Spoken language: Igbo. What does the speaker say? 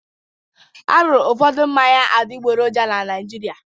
A rụrụ ụfọdụ mmanya adịgboroja na Naịjirịa.